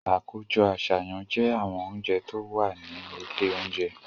Àkójọ àṣàyàn jẹ́ àwọn oúnjẹ tó wà ní ilé oúnjẹ.